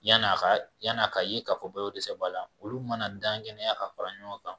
Yan n'a ka yan n'a ka ye k'a fɔ ko balo ko dɛsɛ b'a la, olu mana dan ŋɛnɛya ka fara ɲɔgɔn kan